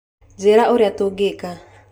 Njĩra ũrĩa tũngĩka